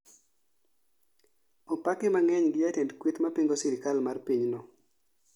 Opake mang'eny gi jatend kweth mapingo sirikal mar piny no